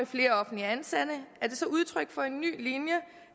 flere offentligt ansatte er det så udtryk for en ny linje